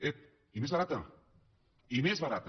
ep i més barata i més barata